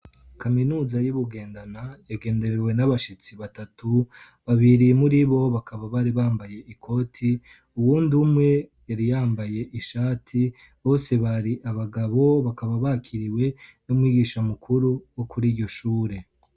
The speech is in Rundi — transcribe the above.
kaminuza y'ubugendana yagenderewe n'abashitsi batatu babiri muri bo bakaba bari bambaye ikoti uwundi umwe yari yambaye ishati bose bari abagabo bakaba bakiriwe n'umwigisha mukuru wo kuriryo shure